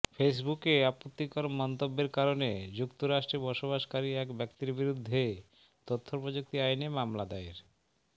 ফেসবুকে আপত্তিকর মন্তব্যের কারণে যুক্তরাষ্ট্রে বসবাসকারী এক ব্যক্তির বিরুদ্ধে তথ্যপ্রযুক্তি আইনে মামলা দায়ের